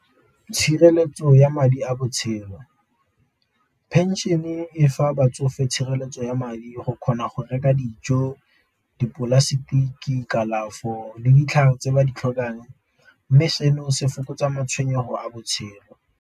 Tshireletso ya madi a botshelo, pension-e e fa batsofe tshireletso ya madi go kgona go reka dijo, dipolasetiki, kalafo, le ditlhare tse ba di tlhokang. Mme seno se fokotsa matshwenyego a botshelo.